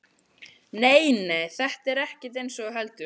Nei, nei, þetta er ekkert eins og þú heldur.